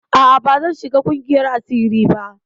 A'a bazan shiga ƙungiyar asiri ba.